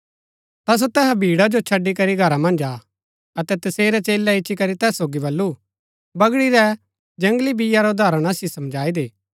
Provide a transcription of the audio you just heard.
ता सो तैहा भीड़ा जो छड़ी करी घरा मन्ज आ अतै तसेरै चेलै इच्ची करी तैस सोगी बल्लू बगड़ी रै जंगली बीआ रा उदाहरण असिओ समझाई दे